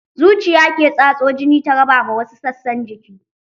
Zuciya ke tatso jini ta raba ma wasu sassan jiki.